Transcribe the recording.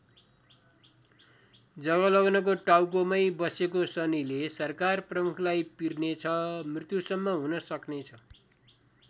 जगलग्नको टाउको मै बसेको शनिले सरकार प्रमुखलाई पिर्ने छ मृत्युसम्म हुन सक्ने छ।